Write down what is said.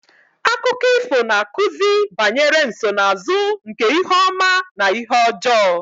Akụkọ ifo na-akụzi banyere nsonaazụ nke ihe ọma na ihe ọjọọ